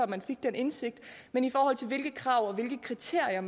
man fik den indsigt men i forhold til hvilke krav og hvilke kriterier